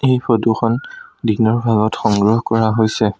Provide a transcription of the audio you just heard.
এই ফটোখন দিনৰ ভাগত সংগ্ৰহ কৰা হৈছে।